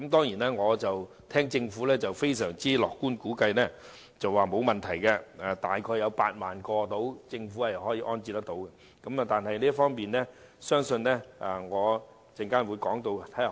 不過，政府卻非常樂觀地估計受影響的龕位只有約8萬個，並表示當局可以安置有關骨灰，不會有問題。